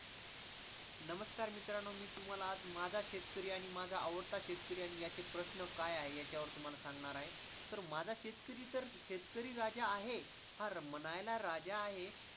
नमस्कार मित्रांनो, मी तुम्हाला आज माझा शेतकरी आणि माझा आवडता शेतकरी आणि याचे प्रश्न काय आहे, याच्यावर तुम्हाला सांगणार आहे. माझा शेतकरी तर शेतकरी राजा आहे, हा म्हणायला राजा आहे.